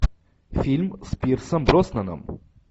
фильм с пирсом броснаном